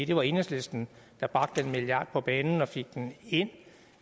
det var enhedslisten der bragte den milliard på banen og fik den ind